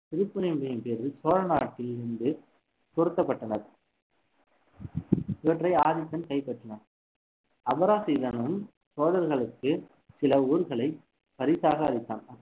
திருப்புறம்பிய சோழநாட்டில் இருந்து பொருத்தப்பட்டன இவற்றை ஆதித்தன் கைப்பற்றினான் அபராஜிதனும் சோழர்களுக்கு சில ஊர்களை பரிசாக அளித்தான்